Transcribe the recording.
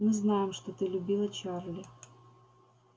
мы знаем что ты любила чарли